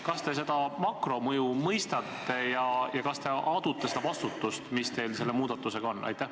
Kas te seda makromõju mõistate ja kas te adute seda vastutust, mis teil seoses selle muudatusega on?